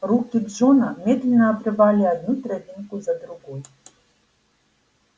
руки джона медленно обрывали одну травинку за другой